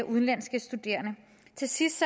udenlandske studerende til sidst